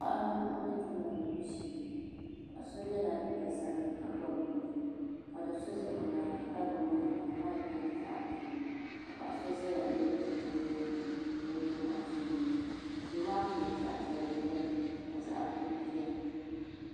Paɣaba n bɛ diɛma diɛmbu shee paɣa so yɛla liiga ʒiɛ ka bob bin maŋli ka do so ʒɛ o nyaanga ka gbubi maik maa maik nyɛla zaɣ buluu ka paɣa so ʒɛya n yɛ chinchin liiga ni o deei Anfooni ŋo duu maa puuni zaɣ piɛlli biɛni ka zaɣ buluu biɛni